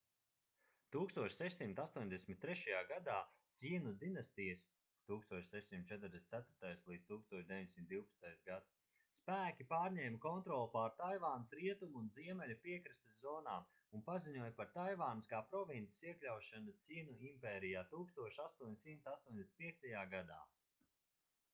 1683. gadā cjinu dinastijas 1644.-1912. gads spēki pārņēma kontroli pār taivānas rietumu un ziemeļu piekrastes zonām un paziņoja par taivānas kā provinces iekļaušanu cjinu impērijā 1885. gadā